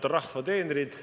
Head rahva teenrid!